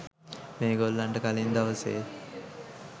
මේ ගොල්ලන්ට කලින් දවසේ